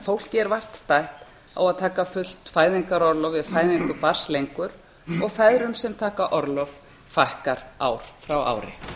fólki er vart stætt á að taka fullt fæðingarorlof við fæðingu barns lengur og feðrum sem taka orlof fækkar ár frá ári